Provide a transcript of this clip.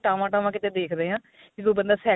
ਟਾਵਾਂ ਟਾਵਾਂ ਕਿਤੇ ਦੇਖਦੇ ਆ ਜਦੋਂ ਬੰਦਾ cycle